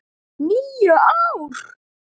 . níu ár!